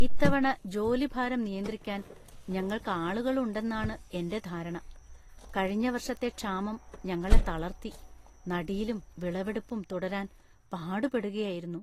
ഇത്തവണ ജോലിഭാരം നിയന്ത്രിക്കാൻ ഞങ്ങൾക്ക് ആളുകള്‍ ഉണ്ടെന്നാണ് എന്‍റെ ധാരണ. കഴിഞ്ഞ വർഷത്തെ ക്ഷാമം ഞങ്ങളെ തളർത്തി, നടീലും വിളവെടുപ്പും തുടരാൻ പാടുപെടുകയായിരുന്നു.